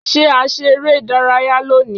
Ṣé a ṣe eré ìdárayá lónìí.?